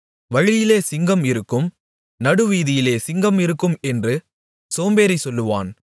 வழியிலே சிங்கம் இருக்கும் நடுவீதியிலே சிங்கம் இருக்கும் என்று சோம்பேறி சொல்லுவான்